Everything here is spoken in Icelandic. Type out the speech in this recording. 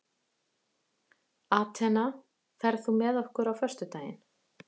Atena, ferð þú með okkur á föstudaginn?